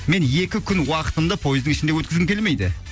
мен екі күн уақытымды поездың ішінде өткізгім келмейді